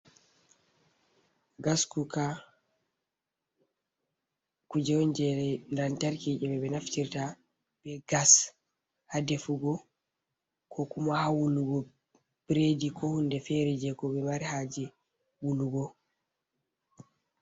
Gaskuka kuje jere lantarki je ɓe naftirta be gas ha defugo ko kuma ha wulugo bredi ko hunde fere je ko ɓe mari haje wulugo.